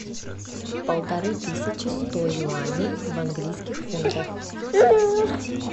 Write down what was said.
полторы тысячи сто юаней в английских фунтах